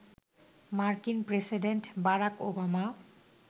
মার্কিন president Barack Obama